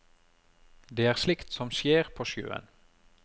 Det er slikt som skjer på sjøen.